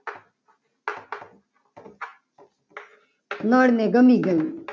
નર ને ગમી ગયું.